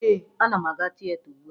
Ee, ana m aga tieta ugbua